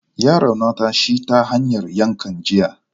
Ya raunata shi ta hanyar yankan jiya.